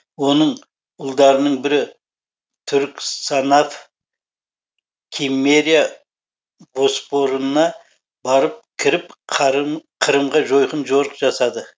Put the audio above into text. оның ұлдарының бірі түрік санаф киммерия боспорына барып кіріп қырымға жойқын жорық жасады